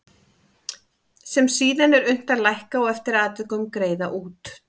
sem síðan er unnt að lækka og eftir atvikum greiða út.